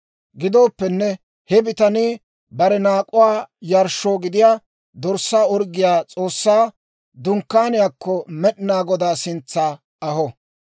Gidooppenne he bitanii bare naak'uwaa yarshshoo gidiyaa dorssaa orggiyaa S'oossaa Dunkkaaniyaakko Med'inaa Godaa sintsa aho.